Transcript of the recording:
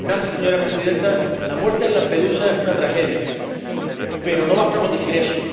Señora Presidenta, la muerte en Lampedusa es una tragedia, pero no basta con decir eso